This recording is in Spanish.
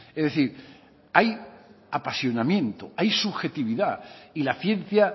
es decir hay apasionamiento hay subjetividad y la ciencia